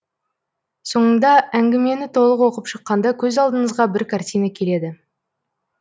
соңында әңгімені толық оқып шыққанда көз алдыңызға бір картина келеді